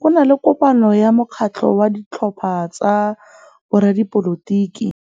Go na le kopanô ya mokgatlhô wa ditlhopha tsa boradipolotiki.